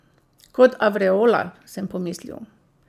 Kot avreola, sem pomislil.